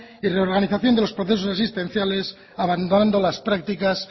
y reorganización de los procesos asistenciales abandonando las prácticas